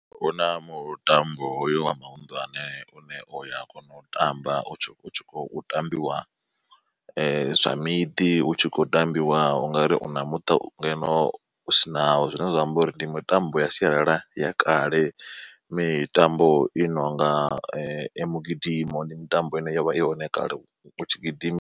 Huna mutambo hoyo wa mahuṋdane une uya kona u tamba u tshi khou tambiwa zwa miḓi hu tshi khou tambiwa ungari una muṱa u nga ino sinawo zwine zwa amba uri ndi mitambo ya sialala ya kale mitambo i nonga ya mugidimo ndi mitambo ine yo vha i hone kale utshi gidima.